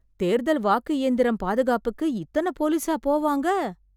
தேர்தல் வாக்கு இயந்திரம் பாதுகாப்புக்கு இத்தன போலீஸா போவாங்க...